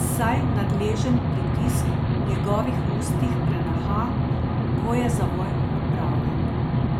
saj nadležen pritisk v njegovih ustih preneha, ko je zavoj opravljen.